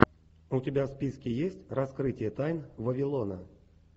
у тебя в списке есть раскрытие тайн вавилона